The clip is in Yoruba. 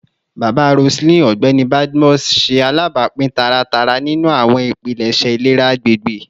Baba Roseline, Ọgbẹni Badmus, ṣe alabapin taratara ninu awọn ipilẹṣẹ ilera agbegbe